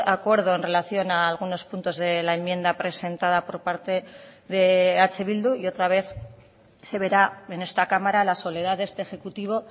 acuerdo en relación a algunos puntos de la enmienda presentada por parte de eh bildu y otra vez se verá en esta cámara la soledad de este ejecutivo